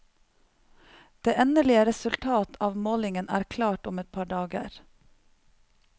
Det endelige resultat av målingen er klart om et par dager.